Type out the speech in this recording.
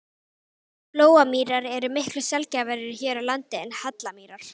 Flóamýrar eru miklu sjaldgæfari hér á landi en hallamýrar.